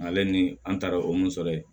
Ale ni an taara o mun sɔrɔ ye